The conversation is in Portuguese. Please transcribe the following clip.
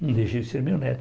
Não deixa de ser meu neto.